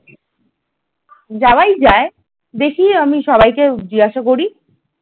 যাওয়াই যায় দেখে আমি সবাইকে জিজ্ঞাসা করি ।